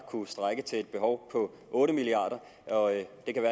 kunne strække til et behov på otte milliard kr